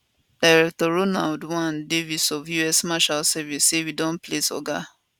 director ronald l davis of us marshals service say we don place oga